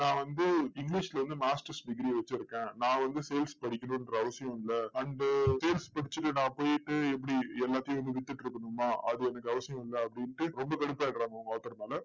நான் வந்து english ல வந்து masters degree வச்சிருக்கேன். நான் வந்து sales படிக்கணுன்ற அவசியம் இல்லை. and sales படிச்சிட்டு நான் போயிட்டு எப்படி எல்லாத்தையும் வந்து வித்துட்டு இருக்கணுமா? அது எனக்கு அவசியம் இல்லை அப்படின்டு, ரொம்ப கடுப்பாகிடறாங்க அவங்க author மேல